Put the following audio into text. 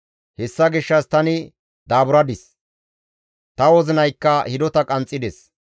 Hessa gishshas tani daaburadis; ta wozinaykka hidota qanxxides.